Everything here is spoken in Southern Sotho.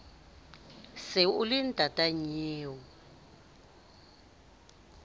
se o le ntata nnyeo